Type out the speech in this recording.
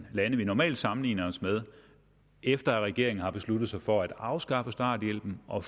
lande vi normalt sammenligner os med efter at regeringen har besluttet sig for at afskaffe starthjælpen og